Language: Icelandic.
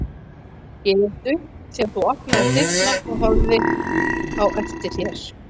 Ég leit upp þegar þú opnaðir dyrnar og horfði á eftir þér.